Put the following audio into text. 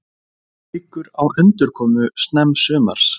Hyggur á endurkomu snemmsumars